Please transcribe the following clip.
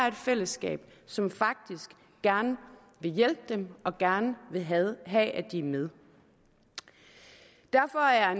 et fællesskab som faktisk gerne vil hjælpe dem og gerne vil have have at de er med derfor er